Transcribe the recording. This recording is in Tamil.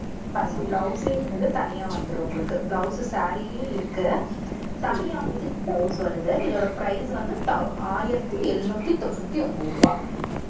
பாருங்க blouse வந்து தனியா வந்துரும் உங்களுக்கு. blouse saree லயே இருக்கு. தனியாவும் இதுக்கு blouse வருது. இதோட price வந்து thou~ ஆயிரத்தி எழுநூத்தி தொண்ணூத்தி ஒன்பது ரூபாய்.